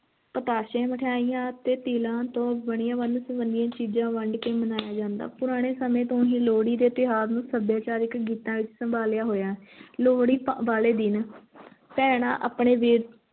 ਪਤਾਸੇ, ਮਿਠਿਆਈਆਂ ਅਤੇ ਤਿਲਾਂ ਤੋਂ ਬਣੀਆਂ ਵੰਨ-ਸੁਵੰਨੀਆਂ ਚੀਜ਼ਾਂ ਵੰਡ ਕੇ ਮਨਾਇਆ ਜਾਂਦਾ, ਪੁਰਾਣੇ ਸਮੇਂ ਤੋਂ ਹੀ ਲੋਹੜੀ ਦੇ ਤਿਉਹਾਰ ਨੂੰ ਸੱਭਿਆਚਾਰਿਕ ਗੀਤਾਂ ਵਿੱਚ ਸੰਭਾਲਿਆ ਹੋਇਆ ਲੋਹੜੀ ਪ~ ਵਾਲੇ ਦਿਨ ਭੈਣਾਂ ਆਪਣੇ ਵੀਰ